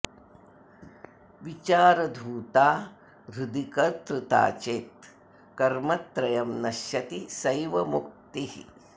विचारधूता हृदि कर्तृता चेत् कर्मत्रयं नश्यति सैव मुक्तिः